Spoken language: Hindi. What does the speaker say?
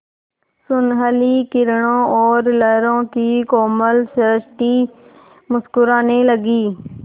सुनहली किरणों और लहरों की कोमल सृष्टि मुस्कराने लगी